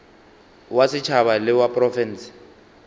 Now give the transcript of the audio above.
wa setšhaba le wa profense